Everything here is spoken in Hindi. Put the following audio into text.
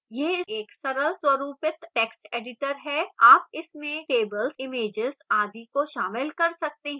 यह एक सरल स्वरूपित text editor है आप इसमें tables images आदि को शामिल कर सकते हैं